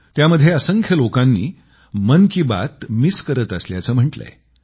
त्यामध्ये असंख्य लोकांनी मन की बात मिस करत असल्याचं म्हटलंय